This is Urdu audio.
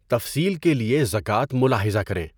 تفصیل کے لیے زکوٰۃ ملاحظہ کریں۔